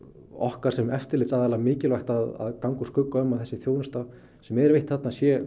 okkar sem eftirlitsaðila mikilvægt að ganga úr skugga um að þessi þjónusta sem er veitt þarna sé